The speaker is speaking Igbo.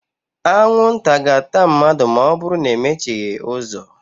Anwụ nta ga-ata mmadụ̣ ma ọ bụrụ na e mechighi uzo